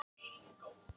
Þar er hálka og óveður.